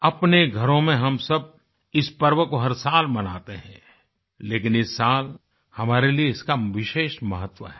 अपने घरों में हम सब इस पर्व को हर साल मनाते हैं लेकिन इस साल हमारे लिए इसका विशेष महत्व है